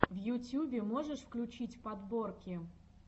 в ютьюбе можешь включить подборки